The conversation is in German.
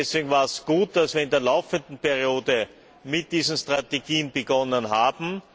Deswegen war es gut, dass wir in der laufenden Periode mit diesen Strategien begonnen haben.